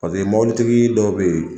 Paseke mɔbilitigi dɔw be yen